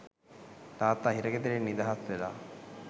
තාත්තා හිරගෙදරින් නිදහස් වෙලා